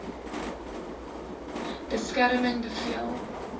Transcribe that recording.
beskerming bevel hom